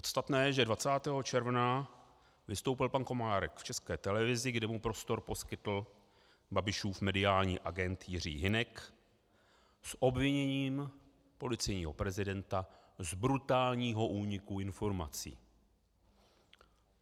Podstatné je, že 20. června vystoupil pan Komárek v České televizi, kde mu prostor poskytl Babišův mediální agent Jiří Hynek, s obviněním policejního prezidenta z brutálního úniku informací.